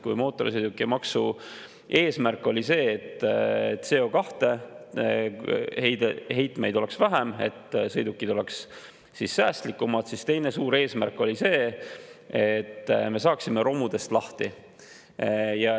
Kui mootorsõidukimaksu eesmärk oli see, et CO2 heitmeid oleks vähem ja sõidukid oleks säästlikumad, siis teine suur eesmärk oli see, et me saaksime romudest lahti.